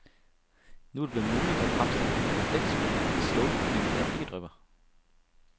Nu er det blevet muligt at fremstille en kondensfri stålprofil, der ikke drypper.